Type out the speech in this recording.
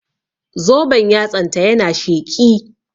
Zoben yatsan ta na sheƙi